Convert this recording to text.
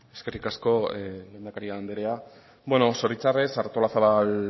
eskerrik asko lehendakari andrea beno zoritxarrez artolazabal